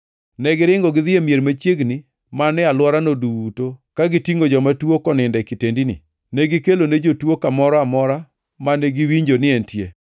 Negiringo gidhi e mier machiegni man e alworano duto ka gitingʼo joma tuo konindo e kitendini. Negikelone jotuo kamoro amora mane giwinjo ni entie.